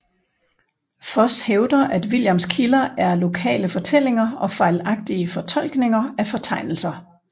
Foss hævder at Williams kilder er lokale fortællinger og fejlagtige fortolkninger af fortegnelser